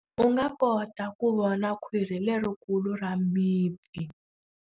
U nga kota ku vona khwiri lerikulu ra mipfi.